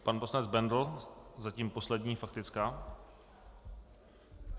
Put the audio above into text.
Pan poslanec Bendl - zatím poslední faktická.